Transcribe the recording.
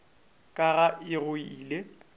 ka ga e go ile